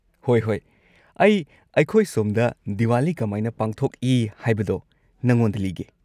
ꯍꯣꯏ ꯍꯣꯏ, ꯑꯩ ꯑꯩꯈꯣꯏ ꯁꯣꯝꯗ ꯗꯤꯋꯥꯂꯤ ꯀꯃꯥꯏꯅ ꯄꯥꯡꯊꯣꯛꯏ ꯍꯥꯏꯕꯗꯣ ꯅꯉꯣꯟꯗ ꯂꯤꯒꯦ꯫